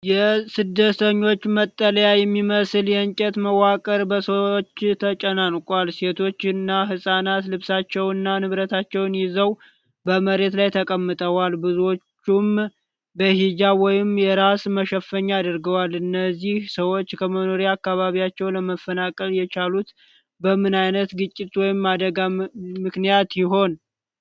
የስደተኞች መጠለያ የሚመስል የእንጨት መዋቅር በሰዎች ተጨናንቋል። ሴቶችና ህፃናት ልብሳቸውንና ንብረታቸውን ይዘው በመሬት ላይ ተቀምጠዋል፣ ብዙዎቹም በሂጃብ ወይም የራስ መሸፈኛ አድርገዋል። እነዚህ ሰዎች ከመኖሪያ አካባቢያቸው ለመፈናቀል የቻሉት በምን ዓይነት ግጭት ወይም አደጋ ምክንያት ይሆን?